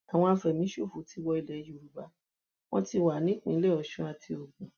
àwọn àfẹmíṣòfò ti wọ ilẹ yorùbá wọn ti wà nípìnlẹ ọsùn àti ogun